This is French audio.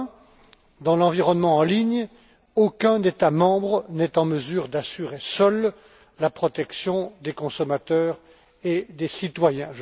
Premièrement, dans l'environnement en ligne, aucun État membre n'est en mesure d'assurer seul la protection des consommateurs et des citoyens.